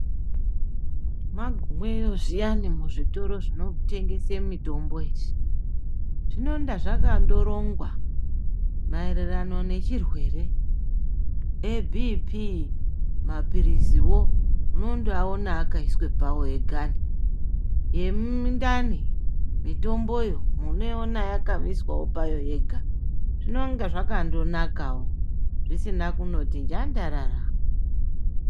Mwagumeyo zviyani muzvitoro zvinotengese mitombo izvi zvinenga zvakandorongwa maererano necvirwere ,ebhipii mapiriziwo munondoawona akaiswepo pawoega ,yemundani mitomboyo munoiona yakaiswawo payo yega zvinonga zvakandonakawo zvisina kunoti njanjarara.